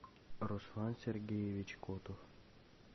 руслан сергеевич котов